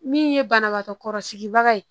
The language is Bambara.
Min ye banabagatɔ kɔrɔsigibaga ye